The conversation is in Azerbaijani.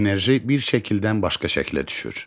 Enerji bir şəkildən başqa şəklə düşür.